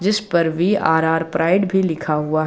इसपर V R R pride भी लिखा हुआ--